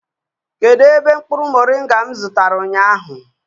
kedu ebe mkpuru moringa m zụtara ụnyahụ?